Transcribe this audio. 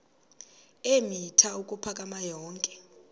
eemitha ukuphakama yonke